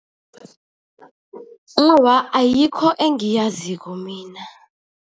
Awa, ayikho engiyaziko mina.